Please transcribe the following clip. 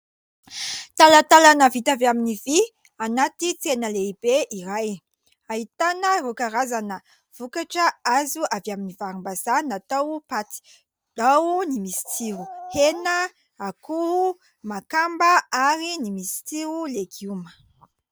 Talantalana vita avy amin'ny vỳ anaty tsena lehibe iray. Ahitana ireo karazana vokatra azo avy amin'ny varimbazaha natao paty. Ao ny misy tsiro hena, akoho, makamba ary ny misy tsiro legioma.